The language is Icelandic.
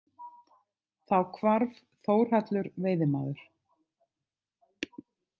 Þá hvarf Þórhallur veiðimaður.